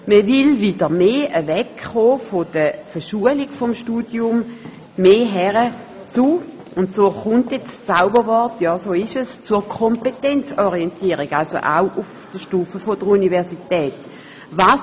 Man will wieder mehr von der Verschulung des Studiums wegkommen und dafür hin zur – ja, so ist es, jetzt folgt das Zauberwort also auch auf der Stufe der Universität – Kompetenzorientierung: